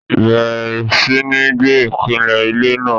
bẹ̀rẹ̀ sí ní gbẹ́ ìpìlẹ̀ ilé náà.